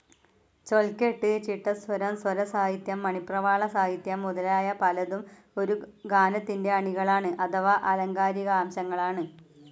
ചൊൽകെട്ട്, ചിട്ടസ്വരം, സ്വരസാഹിത്യം, മണിപ്രവാളസാഹിത്യം മുതലായ പലതും ഒരു ഗാനത്തിന്റെ അണികളാണ്, അഥവാ ആലങ്കാരികാംശങ്ങളാണ്.